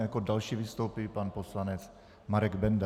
A jako další vystoupí pan poslanec Marek Benda.